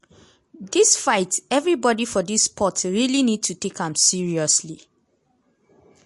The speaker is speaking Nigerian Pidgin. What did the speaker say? dis fight evribodi for dis sport really need to take am seriously.